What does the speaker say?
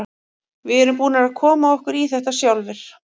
Við erum búnir að koma okkur í þetta sjálfir.